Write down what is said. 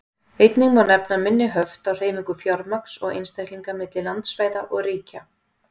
Einnig má nefna minni höft á hreyfingu fjármagns og einstaklinga milli landsvæða og ríkja.